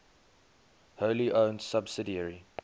wholly owned subsidiary